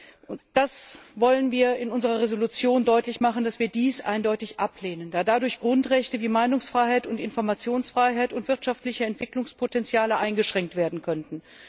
Wir wollen in unserer Entschließung deutlich machen, dass wir dies eindeutig ablehnen, da dadurch Grundrechte wie Meinungsfreiheit und Informationsfreiheit und wirtschaftliche Entwicklungspotenziale eingeschränkt werden könnten.